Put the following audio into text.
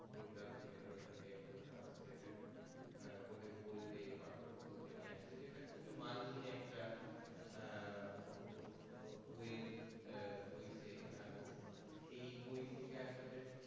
google translator থেকে একদম translate করে বইটি একদম পাঠ্য পুস্তকে নিয়ে আসছে যেটা খুব মান হীন একটা আহ ও ও ও বই এর হইসে এই বই থেকে আসলে